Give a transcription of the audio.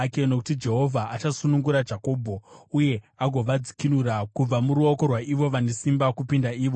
Nokuti Jehovha achasunungura Jakobho, uye agovadzikinura kubva muruoko rwaivo vane simba kupinda ivo.